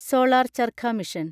solar charkha mission